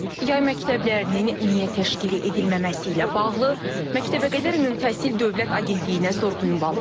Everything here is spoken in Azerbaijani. Yay məktəblərinin niyə təşkili edilməməsi ilə bağlı Məktəbəqədər Ümumi Təhsil Dövlət Agentliyinə sorğu ünvanladıq.